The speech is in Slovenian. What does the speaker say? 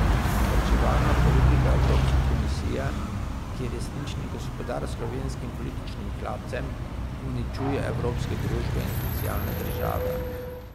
Varčevalna politika evropske komisije, ki je resnični gospodar slovenskim političnim hlapcem, uničuje evropske družbe in socialne države.